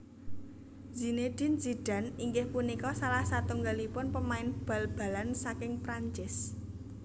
Zinédine Zidane inggih punika salah satunggalipun pemain bal balan saking Prancis